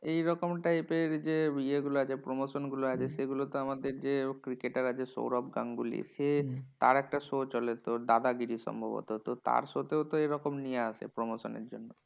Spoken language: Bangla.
এইরকম type এর যে ইয়েগুলো আছে promotion গুলো আছে, সেগুলো তো আমাদের যে cricketer আছে সৌরভ গাঙ্গুলী। সে তার একটা show চলে দাদাগিরি সম্ভবত। তো তার show তেও তো এরকম নিয়ে আসে promotion এর জন্যে।